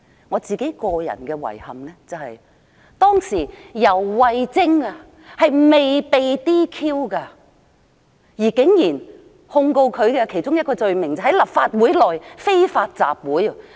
我的遺憾是，當時游蕙禎尚未被 "DQ"， 而控告她的其中一個罪名竟然是在立法會內非法集會。